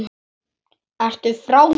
Ertu frá þér!?